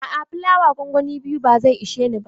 A'a, flawa gongoni biyu ba zai ishe ni ba.